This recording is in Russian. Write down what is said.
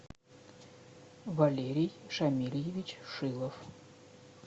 валерий шамильевич шилов